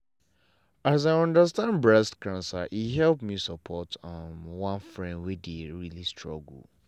as i understand breast cancer e help me support um one friend wey dey really struggle.